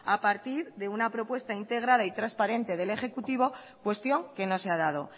a partir de una propuesta integrada y transparente del ejecutivo cuestión que no se ha dado